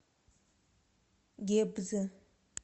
гебзе